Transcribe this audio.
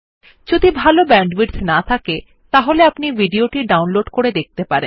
যদি ভাল ব্যান্ডউইডথ না থাকে তাহলে আপনি ভিডিও টি ডাউনলোড করে দেখতে পারেন